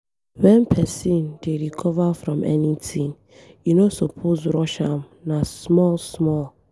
Wen pesin dey recover from anything, e no suppose rush am na small small.